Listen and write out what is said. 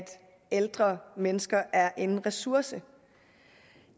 ældre mennesker er en ressource